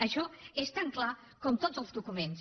això és tan clar com tots els documents